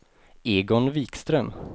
Egon Vikström